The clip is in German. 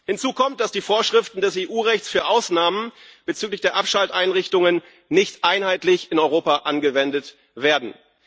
Hinzu kommt, dass die Vorschriften des EU Rechts für Ausnahmen bezüglich der Abschalteinrichtungen in Europa nicht einheitlich angewendet werden.